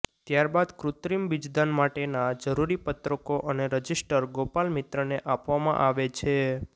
ત્યારબાદ કૃત્રિમ બીજદાન માટેના જરૂરી પત્રકો અને રજીસ્ટર ગોપાલમિત્રને આપવામાં આવે છે